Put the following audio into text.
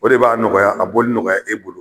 O de b'a nɔgɔya a boli nɔgɔya e bolo.